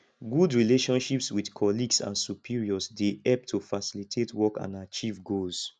good relationships with colleagues and superiors dey help to facilitate work and achieve goals